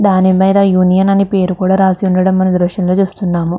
దాని మీద యూనియన్ అని పేరు రాశి ఉండడం మనం ఈ దృశ్యంలొ చుస్తున్నాము.